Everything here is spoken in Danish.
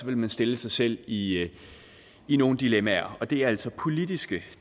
vil man stille sig selv i i nogle dilemmaer og det er altså politiske